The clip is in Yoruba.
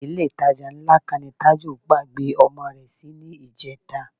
Ilé-ìtajà ńlá kan ni Tájù gbàgbé ọmọ rẹ sí níjẹta